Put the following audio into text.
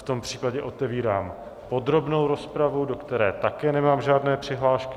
V tom případě otevírám podrobnou rozpravu, do které také nemám žádné přihlášky.